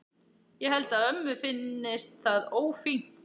Ég held að ömmu finnist það ófínt.